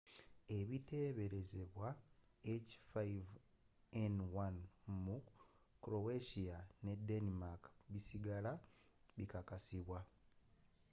ebiteberezebwa h5n1 mu croatia ne denmark bisigala tebikakasidwa